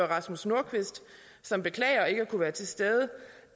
rasmus nordqvist som beklager ikke at kunne være til stede